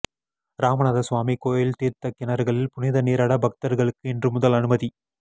ராமநாத சுவாமி கோயில் தீா்த்தக் கிணறுகளில் புனித நீராட பக்தா்களுக்கு இன்று முதல் அனுமதி